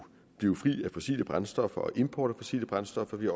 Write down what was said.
blive fri af fossile brændsler og for import af fossile brændsler men